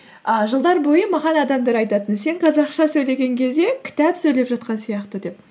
ыыы жылдар бойы маған адамдар айтатын сен қазақша сөйлеген кезде кітап сөйлеп жатқан сияқты деп